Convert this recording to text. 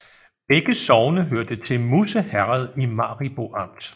Begge sogne hørte til Musse Herred i Maribo Amt